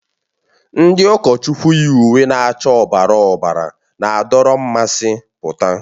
Ndi ụkọchukwu yi uwe na-acha ọbara ọbara na-adọrọ mmasị pụta.